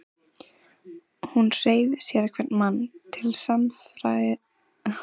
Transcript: Hún hreif sérhvern mann til samræðna með glaðværð og næmi.